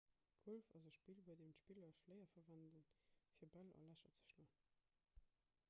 golf ass e spill bei deem d'spiller schléier verwenden fir bäll a lächer ze schloen